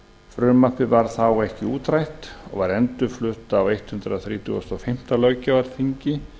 frumvarpið varð þá ekki útrætt og var endurflutt á hundrað þrítugasta og fimmta löggjafarþingi